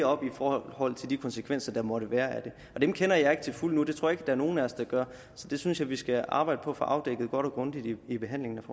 op i forhold til de konsekvenser der måtte være af det og dem kender jeg ikke til fulde endnu det tror jeg ikke er nogen af os der gør så det synes jeg vi skal arbejde på at få afdækket godt og grundigt i behandlingen